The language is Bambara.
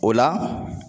O la